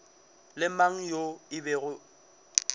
le mang yo e bego